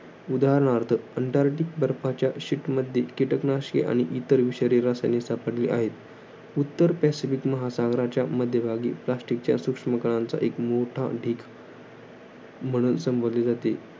उदाहरणार्थ, अंटार्क्टिक बर्फाच्या sheet मध्ये, कीटकनाशके, आणि इतर विषारी रसायने सापडली आहेत. उत्तर पॅसिफिक महासागराच्या मध्यभागी, plastic च्या सूक्ष्म कणांचा एक मोठा ढीग म्हणून संबोधले जाते.